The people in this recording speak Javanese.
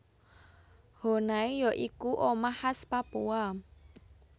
Honai ya iku omah khas Papua